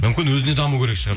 мүмкін өзіне даму керек шығар